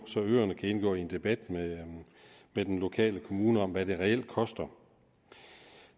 så øerne kan indgå i en debat med den lokale kommune om hvad det reelt koster